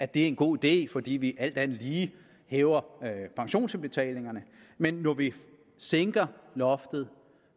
det er en god idé fordi vi alt andet lige hæver pensionsindbetalingerne men når vi sænker loftet